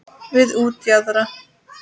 Við útjaðar